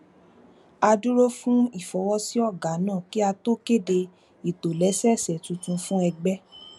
a dúró de ìfọwọsí ọgá náà kí a tó kéde ìtòlẹsẹẹsẹ tuntun fún ẹgbẹ